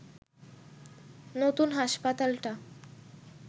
নতুন হাসপাতালটা